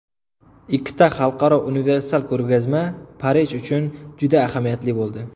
Ikkita xalqaro universal ko‘rgazma Parij uchun juda ahamiyatli bo‘ldi.